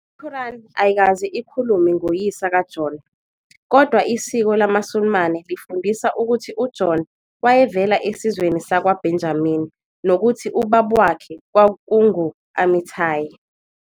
I-Quran ayikaze ikhulume ngoyise kaJona, kodwa isiko lamaSulumane lifundisa ukuthi uJona wayevela esizweni sakwaBenjamini nokuthi ubaba wakhe kwakungu- Amittai.